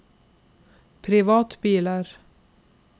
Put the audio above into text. privatbiler